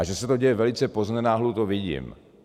A že se to děje velice poznenáhlu, to vidím.